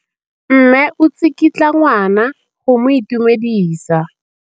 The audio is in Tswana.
Mme o tsikitla ngwana go mo itumedisa.